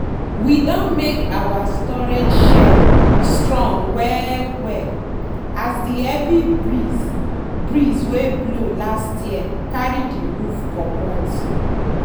we don make our storage shed strong well well as the heavy breeze breeze wey blow last year carry the roof comot.